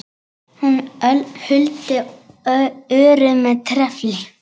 Hún huldi örið með trefli.